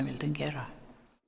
vildum gera